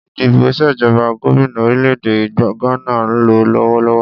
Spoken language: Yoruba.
Ìdìbò ìṣèjọba gómìnà orílè-èdè Gbana ń lọ lọ́wọ́lọ́wọ́